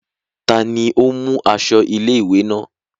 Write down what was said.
Ta ni ó mú aṣọ ilé-ìwé náà?